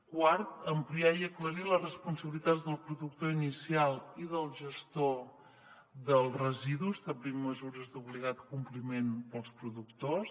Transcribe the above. quart ampliar i aclarir les responsabilitats del productor inicial i del gestor dels residus establint mesures d’obligat compliment pels productors